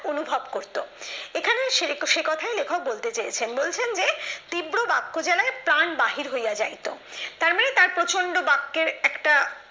অনুভব করতো এখানে সেরেসে কথায় লেখক বলতে চেয়েছেন বলেছেন যে তীব্র বাক্য জ্বালায় প্রাণ বাহির হইয়া যাইতো তার মানে তার প্রচন্ড বাক্যের একটা